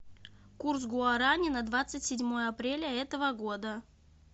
курс гуарани на двадцать седьмое апреля этого года